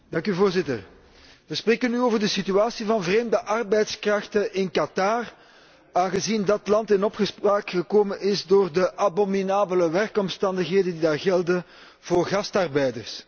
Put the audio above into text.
Voorzitter, we spreken nu over de situatie van vreemde arbeidskrachten in Qatar, aangezien dat land in opspraak gekomen is door de abominabele werkomstandigheden die daar gelden voor gastarbeiders.